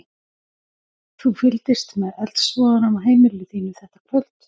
Þú fylgdist með eldsvoðanum af heimili þínu þetta kvöld?